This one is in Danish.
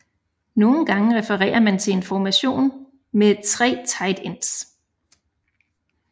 Nogle gange referer man til en formation med tre tight ends